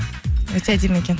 өте әдемі екен